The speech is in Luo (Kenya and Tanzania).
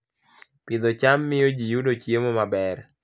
Pidho cham miyo ji yudo chiemo maber